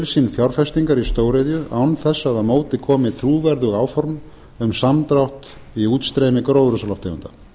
sín fjárfestingar í stóriðju án þess að á móti komi trúverðug áform um samdrátt í útstreymi gróðurhúsalofttegunda